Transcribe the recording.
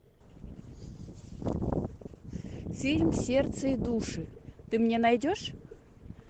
фильм сердце и души ты мне найдешь